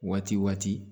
Waati waati